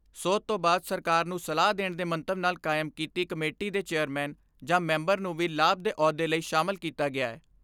ਸੋਧ ਤੋਂ ਬਾਅਦ ਸਰਕਾਰ ਨੂੰ ਸਲਾਹ ਦੇਣ ਦੇ ਮੰਤਵ ਨਾਲ ਕਾਇਮ ਕੀਤੀ ਕਮੇਟੀ ਦੇ ਚੇਅਰਮੈਨ ਜਾਂ ਮੈਂਬਰ ਨੂੰ ਵੀ ਲਾਭ ਦੇ ਅਹੁਦੇ ਲਈ ਸ਼ਾਮਲ ਕੀਤਾ ਗਿਐ।